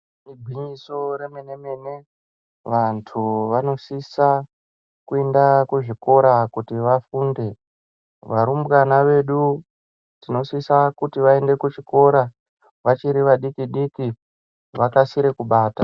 Igwinyiso re mene mene vantu vano sisa kuenda ku zvikora kuti vafunde varumbwana vedu tinosisa kuti vaende ku chikora vachiri va diki diki vakasire kubata.